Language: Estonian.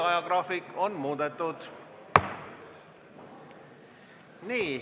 Ajagraafikut on muudetud.